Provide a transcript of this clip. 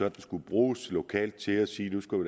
at det skulle bruges lokalt til at sige